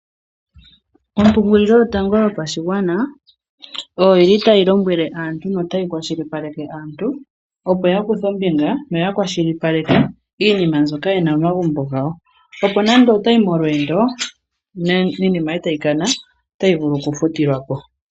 Ombaanga yotango yopashigwana otayi lombwele aantu opo ya kuthe ombinga. Ya kwashilipaleke iinima mbyoka yena momagumbo gawo. Opo nande oto yi molweendo iinima yoye eta yi kana otayi vulu okufutilwa ko.